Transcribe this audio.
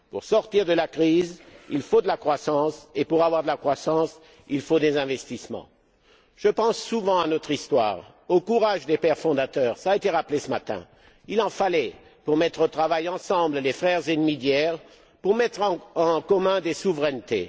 Pour sortir de la crise, il faut de la croissance et pour avoir de la croissance, il faut des investissements. Je pense souvent à notre histoire, au courage des pères fondateurs cela a été rappelé ce matin il en fallait pour mettre au travail ensemble les frères ennemis d'hier, pour mettre en commun des souverainetés.